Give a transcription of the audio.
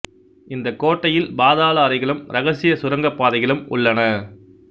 இந்தக் கோட்டையில் பாதாள அறைகளும் இரகசியச் சுரங்கப் பாதைகளும் உள்ளன